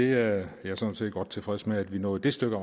jeg er sådan set godt tilfreds med at vi nåede det stykke